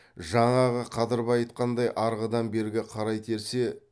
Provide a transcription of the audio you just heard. жаңағы қадырбай айтқандай арғыдан бері қарай терсе